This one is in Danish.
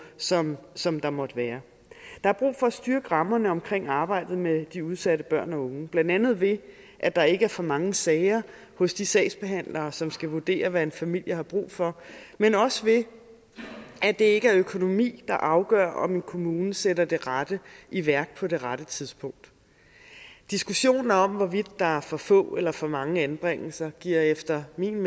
som som der måtte være der er brug for at styrke rammerne omkring arbejdet med de udsatte børn og unge blandt andet ved at der ikke er for mange sager hos de sagsbehandlere som skal vurdere hvad en familie har brug for men også ved at det ikke er økonomi der afgør om en kommune sætter det rette i værk på det rette tidspunkt diskussionen om hvorvidt der er for få eller for mange anbringelser giver efter min